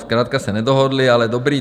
Zkrátka se nedohodli, ale dobrý.